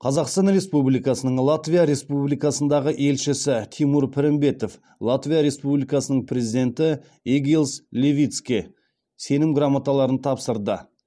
қазақстан республикасының латвия республикасындағы елшісі тимур пірімбетов латвия республикасының президенті эгилс левитске сенім грамоталарын тапсырды